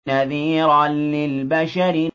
نَذِيرًا لِّلْبَشَرِ